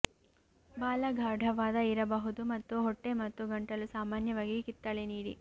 ಬಾಲ ಗಾಢವಾದ ಇರಬಹುದು ಮತ್ತು ಹೊಟ್ಟೆ ಮತ್ತು ಗಂಟಲು ಸಾಮಾನ್ಯವಾಗಿ ಕಿತ್ತಳೆ ನೀಡಿ